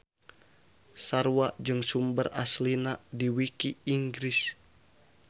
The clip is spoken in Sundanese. Sarua jeung sumber aslina di wiki Inggris.